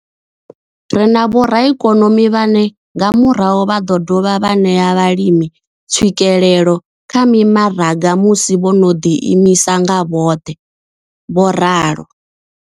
Ri na vhoraikonomi vhane nga murahu vha ḓo dovha vha ṋea vhalimi tswikelelo kha mimaraga musi vho no ḓi imisa nga vhoṱhe. vho ralo.